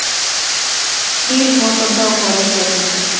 Nýr notandi á hverri sekúndu